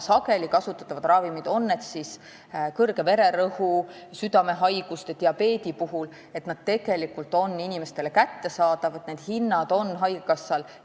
Sageli kasutatavate ravimite hinnad, on need siis kõrge vererõhu, südamehaiguste või diabeedi ravimid, on haigekassal läbi räägitud, piirhinnad on seatud.